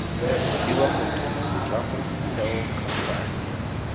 fiwa motho setlamo setheo khamphane